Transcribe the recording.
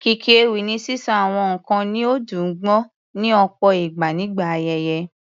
Kíkí ewì ni sísọ àwọn nǹkan ní ó dùn gbọ́, ní ọ̀pọ̀ ìgbà nígbà ayẹyẹ.